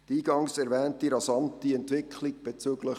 Die eingangs erwähnte rasante Entwicklung bezüglich